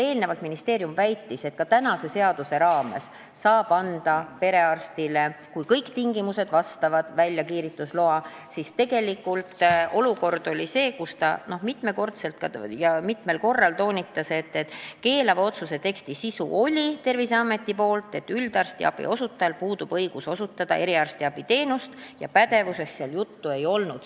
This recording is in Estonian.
Enne oli ministeerium meile väitnud, et ka kehtiva seaduse raames saab anda perearstile, kui kõik tingimused on täidetud, kiirgustegevusloa, kuid tegelik olukord oli see – doktor seda mitmel korral toonitas –, nagu selgus Terviseameti keelava otsuse sisust, et üldarstiabi osutajal puudub õigus osutada eriarstiabiteenust, ja pädevusest seal juttu ei olnud.